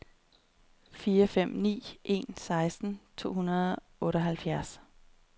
fire fem ni en seksten to hundrede og otteoghalvfjerds